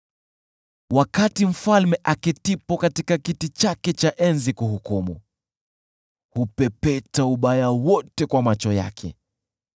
Wakati mfalme aketipo katika kiti chake cha enzi kuhukumu, hupepeta ubaya wote kwa macho yake.